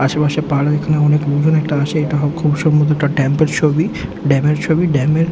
আশেপাশে পাহাড় এখানে অনেক লোকজন একটা আসে এটা হোক খুব সম্ভবত একটা ডেম্প - এর ছবি ড্যাম - এর ছবি ড্যাম এর--